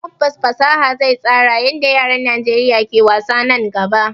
Tabbas fasaha zai tsara yadda yaran Najeriya ke wasa nan gaba